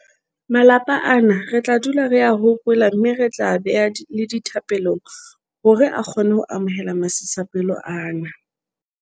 Malapa ana re tla dula re a hopola mme re tla a beha le dithapelong hore a kgone ho amohela masisapelo ana.